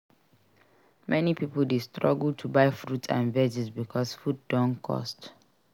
Many pipo dey struggle to buy fruits and veggies bicos food don cost.